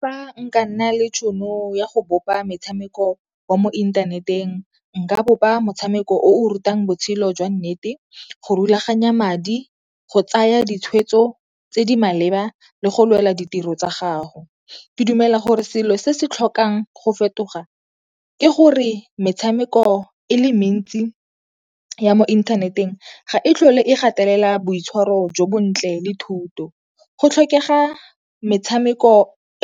Fa nka nna le tšhono ya go bopa metshameko wa mo inthaneteng nka bopa motshameko o o rutang botshelo jwa nnete, go rulaganya madi, go tsaya ditshwetso tse di maleba le go lwela ditiro tsa gago. Ke dumela gore selo se se tlhokang go fetoga ke gore metshameko e le mentsi ya mo inthaneteng ga e tlhole e gatelela boitshwaro jo bontle le thuto. Go tlhokega metshameko